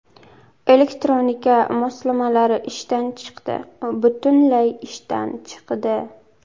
Elektronika moslamalari ishdan chiqdi, butunlay ishdan chiqdi!